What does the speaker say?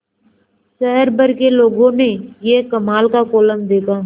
शहर भर के लोगों ने यह कमाल का कोलम देखा